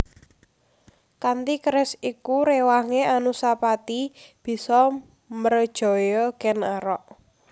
Kanthi keris iku réwangé Anusapati bisa mrejaya Kèn Arok